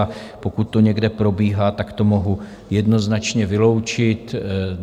A pokud to někde probíhá, tak to mohu jednoznačně vyloučit.